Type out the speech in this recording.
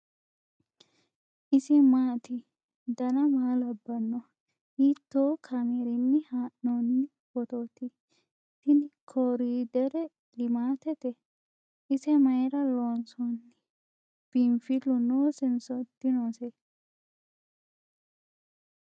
ise maati ? dana maa labbanno ? hiitoo kaameerinni haa'noonni footooti ? tini korderi limaatete ? ise mayra loonsoonni ? biinfillu noosenso dinose ?